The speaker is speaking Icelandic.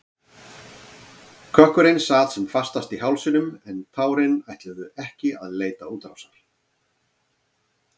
Kökkurinn sat sem fastast í hálsinum en tárin ætluðu ekki að leita útrásar.